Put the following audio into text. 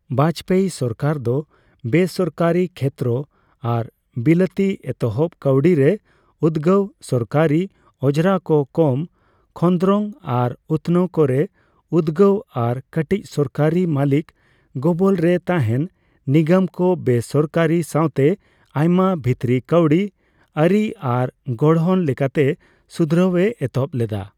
ᱵᱟᱡᱯᱮᱭᱤ ᱥᱟᱨᱠᱟᱨ ᱫᱚ ᱵᱮᱥᱟᱨᱠᱟᱨᱤ ᱠᱷᱮᱛᱨᱚ ᱟᱨ ᱵᱤᱞᱟᱹᱛᱤ ᱮᱛᱚᱦᱚᱯ ᱠᱟᱹᱣᱰᱤ ᱨᱮ ᱩᱫᱜᱟᱹᱣ, ᱥᱚᱨᱠᱟᱨᱤ ᱚᱡᱨᱟ ᱠᱚ ᱠᱚᱢ, ᱠᱷᱚᱱᱫᱨᱚᱝ ᱟᱨ ᱩᱛᱱᱟᱹᱣ ᱠᱚ ᱨᱮ ᱩᱫᱜᱟᱹᱣ ᱟᱨ ᱠᱟᱹᱴᱤᱡ ᱥᱚᱨᱠᱟᱨᱤ ᱢᱟᱹᱞᱤᱠ ᱜᱚᱵᱚᱞ ᱨᱮ ᱛᱟᱸᱦᱮᱱ ᱱᱤᱜᱚᱢ ᱠᱚ ᱵᱮᱥᱚᱨᱠᱟᱨᱤᱭ ᱥᱟᱣᱛᱮ ᱟᱭᱢᱟ ᱵᱷᱤᱛᱨᱤ ᱠᱟᱹᱣᱰᱤ ᱟᱹᱨᱤ ᱟᱨ ᱜᱚᱲᱦᱚᱱ ᱞᱮᱠᱟᱛᱮ ᱥᱩᱫᱷᱨᱟᱹᱣᱼᱮ ᱮᱛᱚᱦᱚᱯ ᱞᱮᱫᱟ ᱾